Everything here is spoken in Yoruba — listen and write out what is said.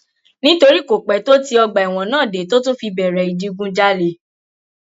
nítorí kò pẹ tó tí ọgbà ẹwọn náà dé tó tún fi bẹrẹ ìdígunjalè